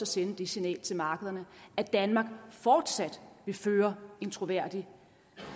sende det signal til markederne at danmark fortsat vil føre en troværdig